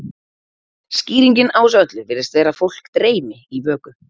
skýringin á þessu öllu virðist vera að fólk dreymi í vöku